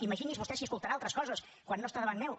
imagini’s vostè si escoltarà altres coses quan no està davant meu